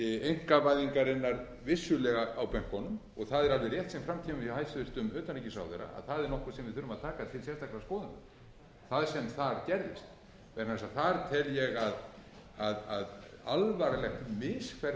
einkavæðingarinnar vissulega á bönkunum og það er alveg rétt sem fram kemur hjá hæstvirtum utanríkisráðherra að það er nokkuð sem við þurfum að taka til sérstakrar skoðunar það sem þar gerðist vegna þess